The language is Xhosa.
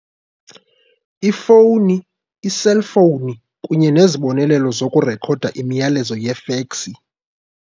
Ifowuni - iselfowuni kunye nezibonelelo zokurekhoda imiyalezo yefeksi.